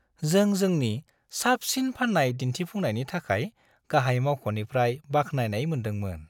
जों जोंनि साबसिन फाननाय दिन्थिफुंनायनि थाखाय गाहाय मावख'निफ्राय बाख्नायनाय मोनदोंमोन।